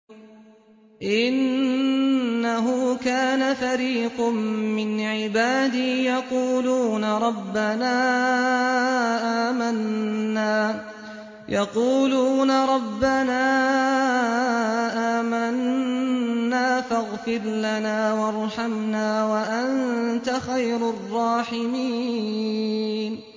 إِنَّهُ كَانَ فَرِيقٌ مِّنْ عِبَادِي يَقُولُونَ رَبَّنَا آمَنَّا فَاغْفِرْ لَنَا وَارْحَمْنَا وَأَنتَ خَيْرُ الرَّاحِمِينَ